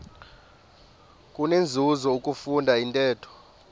kunenzuzo ukufunda intetho